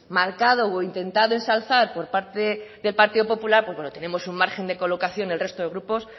marcado o intentado ensalzar por parte del partido popular pues tenemos un margen de colocación el resto de grupos